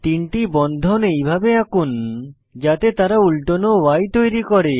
তিনটি বন্ধন এইভাবে আঁকুন যাতে তারা উল্টানো Y তৈরী করে